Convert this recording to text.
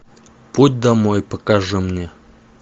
путь домой покажи мне